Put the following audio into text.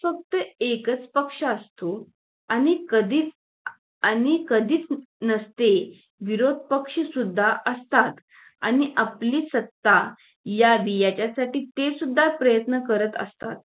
फक्त एकच पक्ष असतो आणि कधी आणि कधीच नसते विरोध पक्ष सुद्धा असतात आणि आपली सत्ता या याच्यासाठी ते सुद्धा प्रयत्न करत असतात